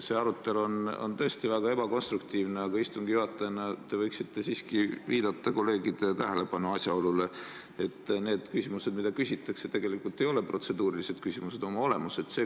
See arutelu on tõesti väga ebakonstruktiivne, aga istungi juhatajana te võiksite siiski juhtida kolleegide tähelepanu asjaolule, et need küsimused, mida küsitakse, tegelikult ei ole protseduurilised küsimused oma olemuselt.